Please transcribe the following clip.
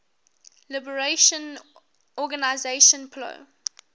liberation organization plo